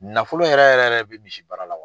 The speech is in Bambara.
Nafolo yɛrɛ yɛrɛ yɛrɛ bɛ misi baara la.